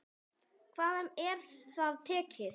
Hvaðan er það tekið?